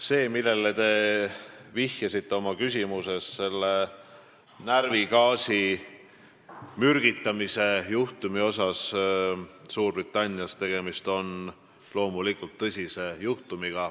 See, millele te vihjasite oma küsimuses, see närvigaasiga mürgitamise juhtum Suurbritannias, on loomulikult tõsine juhtum.